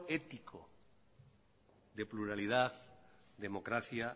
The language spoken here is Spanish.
ético de pluralidad democracia